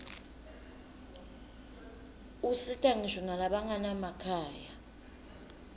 usita ngisho nalabanganamakhaya